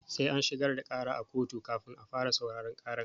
Sai an shigar da ƙara a koto kafin a fara sauraron ƙara.